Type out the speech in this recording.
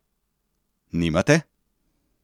Nimate?